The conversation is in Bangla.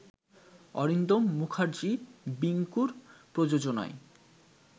অরিন্দম মূখার্জি বিংকুর প্রযোজনায়